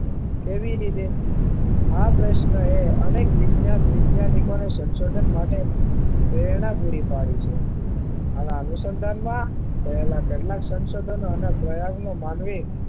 કેવી રીતે આ પ્રશ્ન એ અનેક વિજ્ઞાન વિજ્ઞાનીકો ને સંશોધન માટે પ્રેરણા પૂરી પાડી છે આના અનુસંધાન માં ને પહેલા કહેલા સંશોધન અને પ્રયોગ માં માનવી